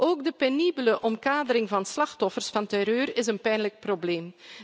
Ook de penibele omkadering van slachtoffers van terreur is een pijnlijk probleem.